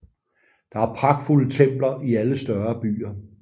Der er pragtfulde templer i alle større byer